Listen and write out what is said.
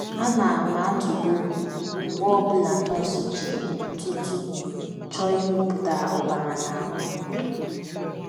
Ana m atụbọ mgbe ọ bụla nọọsụ ji ntụtụ chọọ ịmịpụta ọbara n’ahụ́ m.